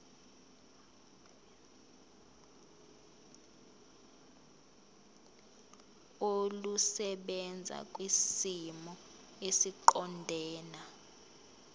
olusebenza kwisimo esiqondena